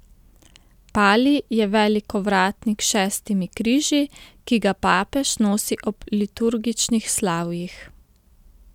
Palij je velik ovratnik s šestimi križi, ki ga papež nosi ob liturgičnih slavjih.